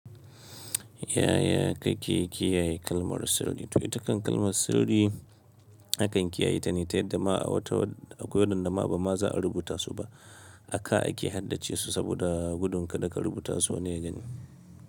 Yaya kake kiyaye kalmar sirri? To itakan kalmar sirri a kan kiyaye ta ne ta yadda ma a wata, akwai waɗanda ma ba za a rubuta su ba. Aka ake haddace su saboda gudun kada ka rubuta su wani ya gani.